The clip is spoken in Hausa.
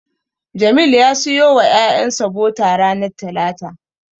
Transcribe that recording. Jamil zai siyo wa ƴaƴansa bota ranar talata.